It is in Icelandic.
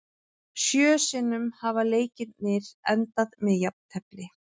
Sjö sinnum hafa leikirnir endað með jafntefli.